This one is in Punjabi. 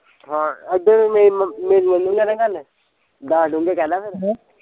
ਹਾਂ ਅੱਧੇ ਮੈਂ ਮੇਰੀ ਮਨੇਗਾ ਨਾ ਗੱਲ ਦੱਸ ਡੋਂਗੇ ਕਹਿਦਾ ਫਿਰ